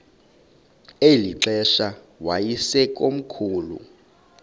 eli xesha yayisekomkhulu